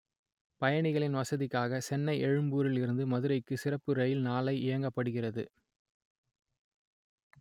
பய‌ணிக‌ளி‌ன் வச‌தி‌க்காக செ‌ன்னை எழு‌ம்பூ‌ரி‌ல் இரு‌ந்து மதுரை‌க்கு ‌சிற‌ப்பு ர‌யி‌ல் நாளை இய‌க்க‌ப்படு‌கிறது